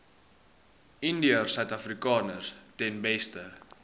indiërsuidafrikaners ten beste